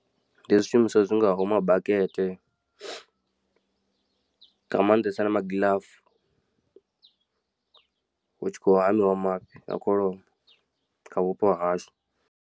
Ndi zwishumiswa zwi ngaho ma bakete nga maanḓesa na magilafu hutshi kho hamiwa mafhi a kholomo kha vhupo ha hashu.